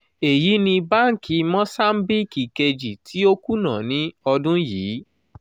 èyí ni báńkì mòsáńbíìkì kejì tí o kuna ní ọdún yìí.